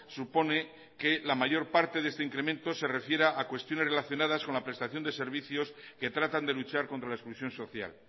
supone que la mayor parte de este incremento se refiera a cuestiones relacionadas con la prestación de servicios que tratan de luchar contra la exclusión social